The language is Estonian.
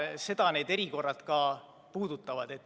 Seda need erikorrad ka puudutavad.